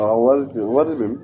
Awɔ waliden wali de